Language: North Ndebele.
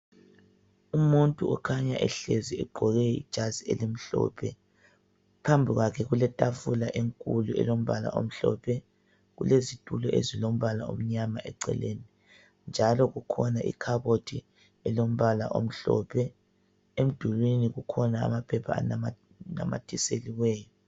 Umuntu okhanya ehlezi egqoke ijazi elimhlophe, phambi kwakhe kuletafula enkulu elombala omhlophe. Kulezitulo ezilombala omnyama eceleni njalo kukhona ikhabothi elombala omhlophe, emdulwini kukhona amaphepha anamathiselweyo.